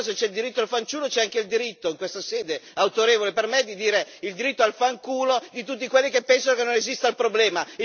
Allora se c'è il diritto al fanciullo c'è anche il diritto, in questa sede autorevole, per me, di dire il diritto al fanculo di tutti quelli che pensano che non esista il problema!